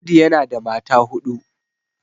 Audu yana da mata huɗu